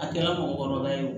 A kɛra mɔgɔkɔrɔba ye o